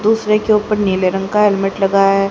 दूसरे के ऊपर नीले रंग का हेलमेट लगा है।